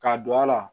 Ka don a la